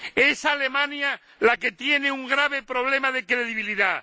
Es Alemania la que tiene un grave problema de credibilidad.